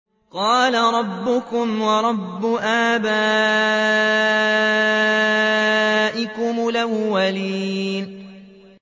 قَالَ رَبُّكُمْ وَرَبُّ آبَائِكُمُ الْأَوَّلِينَ